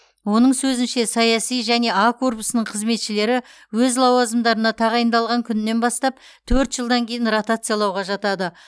оның сөзінше саяси және а корпусының қызметшілері өз лауазымдарына тағайындалған күнінен бастап төрт жылдан кейін ротациялауға жатады